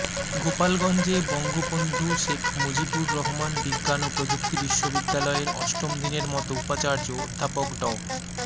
গোপালগঞ্জে বঙ্গবন্ধু শেখ মুজিবুর রহমান বিজ্ঞান ও প্রযুক্তি বিশ্ববিদ্যালয়ের অষ্টম দিনের মতো উপাচার্য অধ্যাপক ড